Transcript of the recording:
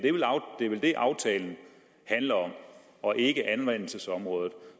er vel det aftalen handler om og ikke anvendelsesområdet